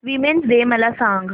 women's day मला सांग